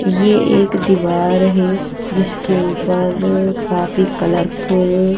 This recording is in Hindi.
ये एक दीवार है जिसके ऊपर काफी कलरफुल --